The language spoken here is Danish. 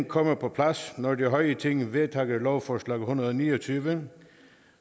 kommer på plads når det høje ting vedtager lovforslag en hundrede og ni og tyve